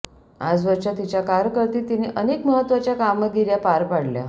आजवरच्या तिच्या कारकीर्दीत तिने अनेक महत्त्वाच्या कामगिऱ्या पार पाडल्या